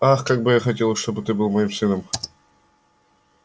ах как бы я хотела чтобы ты был моим сыном